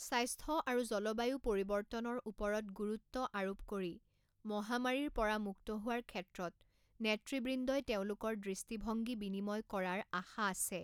স্বাস্থ্য আৰু জলবায়ু পৰিৱৰ্তনৰ ওপৰত গুৰুত্ব আৰোপ কৰি মহামাৰীৰ পৰা মুক্ত হোৱাৰ ক্ষেত্ৰত নেতৃবৃন্দই তেওঁলোকৰ দৃষ্টিভংগী বিনিময় কৰাৰ আশা আছে।